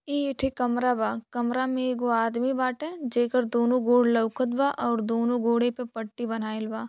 ई एठे कमरा बा। कमरा में एगो आदमी बाटे जेकर दोनों गोड़ लउकत बा अउर दोनों गोड़े पे पट्टी बन्हाइल बा।